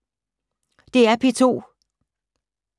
DR P2